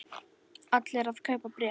Allir að kaupa bréf